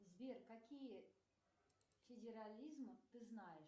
сбер какие федерализмы ты знаешь